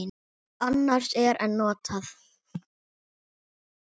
Annars er en notað.